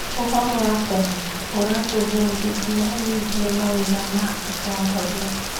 ũhoro wa tene ũratũbundithia wĩgiĩ mawĩra ma atongoria.